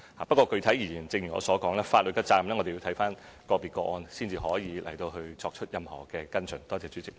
不過，具體而言，正如我所說，就法律責任來說，我們要視乎個別個案，才可以作出任何跟進。